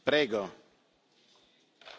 Zur Geschäftsordnung Herr Präsident!